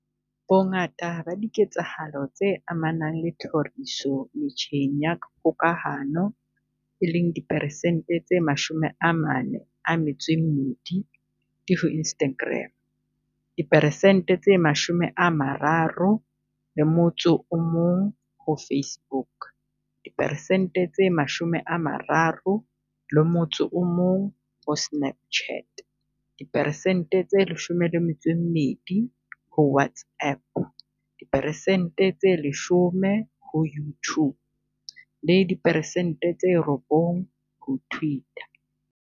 Bongata ba diketsahalo tse amanang le tlhoriso metjheng ya kgokahano, e leng diperesente tse 42, di ho Instagram, diperesente tse 31 ho Facebook, diperesente tse 31 ho Snapchat, diperesente tse 12 ho WhatsApp, diperesente tse 10 ho YouTube le diperesente tse 9 ho Twitter.